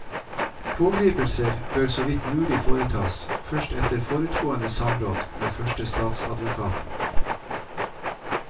Pågripelser bør så vidt mulig foretas først etter forutgående samråd med førstestatsadvokaten.